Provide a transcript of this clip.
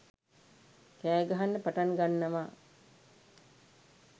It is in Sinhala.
කෑගහන්න පටන් ගන්නවා'